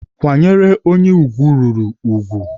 Kwanyere onye ugwu ruru ugwu.